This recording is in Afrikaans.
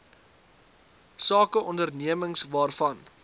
sake ondernemings waarvan